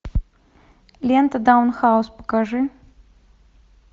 лента даунхаус покажи